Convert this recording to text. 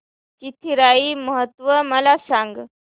चिथिराई महोत्सव मला सांग